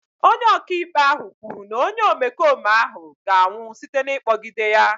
Onye ọka ikpe kwuru na onye omekome ahụ ga-anwụ site n'ịkpọgide ya.